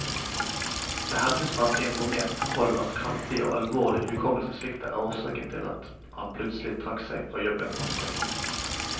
Det hevdes fra informert hold at kraftig og alvorlig hukommelsessvikt er årsaken til at han plutselig trakk seg fra jobben onsdag.